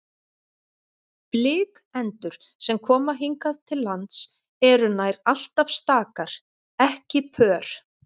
Blikendur sem koma hingað til lands eru nær alltaf stakar, ekki pör.